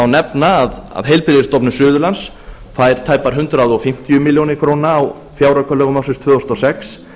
nefna að heilbrigðisstofnun suðurlands fær tæpar hundrað fimmtíu milljónir króna á fjáraukalögum ársins tvö þúsund og sex